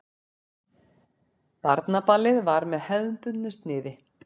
Barnaballið var með hefðbundnu sniði.